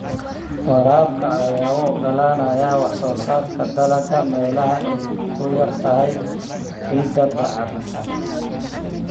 Waraabka ayaa u oggolaanaya wax-soo-saarka dalagga meelaha ay ku yar tahay ciidda bacrinsan.